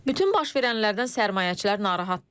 Bütün baş verənlərdən sərmayəçilər narahatdır.